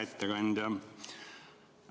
Hea ettekandja!